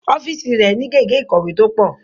Ọ́fíìsì rẹ̀ ni gègé ìkọ̀wé tó pọ̀